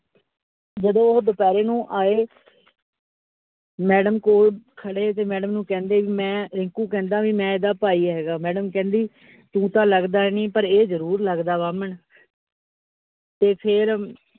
ਜਦੋ ਉਹ ਦੁਪਹਿਰੇ ਨੂੰ ਆਏ madam ਕੋਲ ਖੜੇ, ਤੇ madam ਨੂੰ ਕਹਿੰਦੇ ਵੀ ਮੈ ਰਿੰਕੂ ਕਿਹੰਦਾ, ਵੀ ਮੈ ਇਹਦਾ ਭਾਈ ਹੇਗਾ, madam ਕਹਿੰਦੀ ਤੂੰ ਤਾ ਲੱਗਦਾ ਨਹੀਂ, ਪਰ ਇਹ ਜਰੂਰ ਲੱਗਦਾ ਬਾਹਮਣ ਤੇ ਫੇਰ